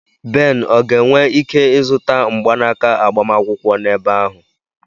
Ben ọ ga-enwe ike ịzụta mgbanaka agbamakwụkwọ n'ebe ahụ?